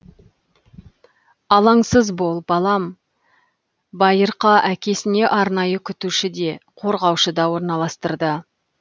алаңсыз бол балам байырқа әкесіне арнайы күтуші де қорғаушы да орналастырды